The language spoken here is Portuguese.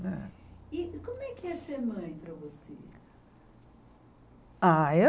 E como é que é ser mãe para você? Ah